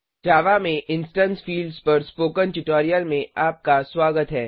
जावा में instance fields पर spoken tutorial में आपका स्वागत है